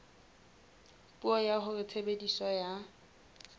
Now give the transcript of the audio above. puo ya hore tshebediso ya